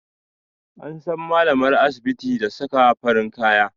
An san malamar asibiti da saka farin kaya